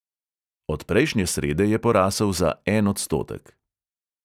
Od prejšnje srede je porasel za en odstotek.